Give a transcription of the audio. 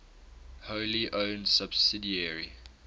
wholly owned subsidiary